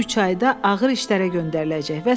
Bu üç ayda ağır işlərə göndəriləcək.